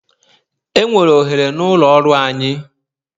Enwere ohere n'ụlọ ọrụ anyị.